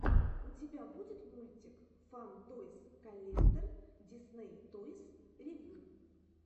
у тебя будет мультик фан тойс коллектор дисней тойс ревью